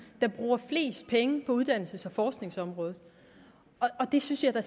der bruger flest penge på uddannelses og forskningsområdet og det synes jeg da